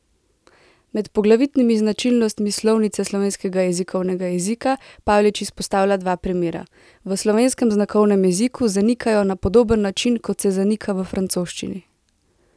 Med poglavitnimi značilnostmi slovnice slovenskega jezikovnega jezika Pavlič izpostavlja dva primera: "V slovenskem znakovnem jeziku zanikajo na podoben način kot se zanika v francoščini.